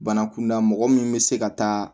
Bana kunda mɔgɔ min bɛ se ka taa